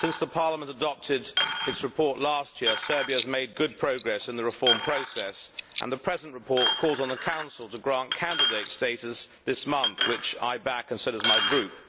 Since Parliament adopted its report last year, Serbia has made good progress in the reform process and the present report calls on the Council to grant candidate status this month, which I back and so does my group.